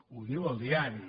ho diu el diari